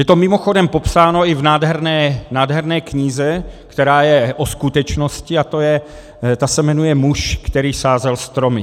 Je to mimochodem popsáno i v nádherné knize, která je o skutečnosti, a ta se jmenuje Muž, který sázel stromy.